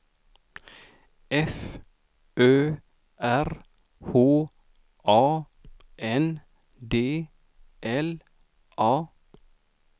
F Ö R H A N D L A